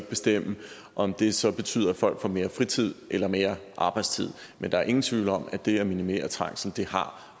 bestemme om det så betyder at folk får mere fritid eller mere arbejdstid men der er ingen tvivl om at det at minimere trængsel